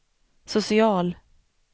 social